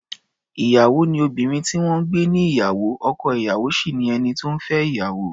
Ìyàwó ni obìnrin tí wọ́n ń gbé níyàwó, ọkọ-ìyàwó sì ni ẹni tó ń fẹ́ ìyàwó.